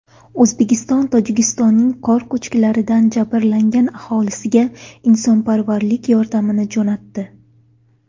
O‘zbekiston Tojikistonning qor ko‘chkilaridan jabrlangan aholisiga insonparvarlik yordamini jo‘natdi .